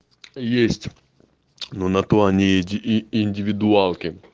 есть но на то они и индивидуалки